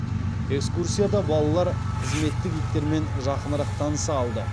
экскурсияда балалар қызметтік иттермен жақынырақ таныса алды